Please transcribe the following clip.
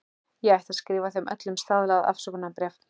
Ég ætti að skrifa þeim öllum staðlað afsökunarbréf.